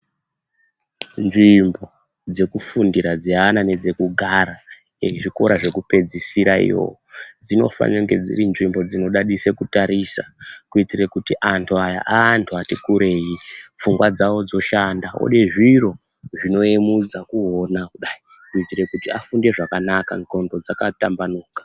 Nzvimbo dzekufundira dzeana nedzekugara ezvikora zvekupedzisira iyo dzinofanirwa kunge dziri nzvimbo dzinodadisa kutarisa kuitira kuti andu aya aandu ati kurei pfungwa dzavo dzoshanda ode zviro zvinoemudzisa kuona kudai kuitira kuti afunde zvakanaka nglondo dzavo dzakatambanuka